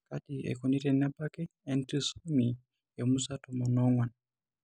Kaji sa eikoni tenebaki entrisomy emusa tomon oong'uan?